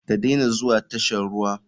Ka dena zuwa tashan ruwa.